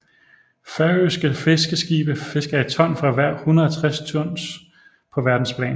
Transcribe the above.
Færøske fiskeskibe fisker et ton for hver 160 tons på verdensplan